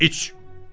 “İç!”